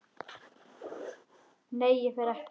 Nei, ég fer ekkert.